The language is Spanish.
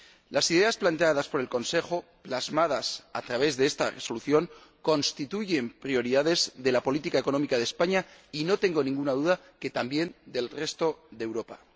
Las ideas planteadas por el Consejo, y plasmadas a través de esta Resolución, constituyen prioridades de la política económica de España y —no tengo ninguna duda— también del resto de Europa.